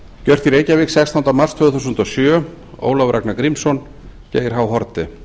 gjört í reykjavík sextánda mars tvö þúsund og sjö ólafur ragnar grímsson geir h haarde